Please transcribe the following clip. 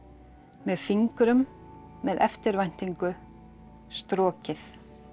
með fingrum með eftirvæntingu strokið